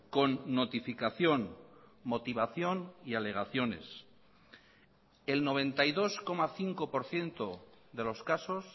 con notificación motivación y alegaciones el noventa y dos coma cinco por ciento de los casos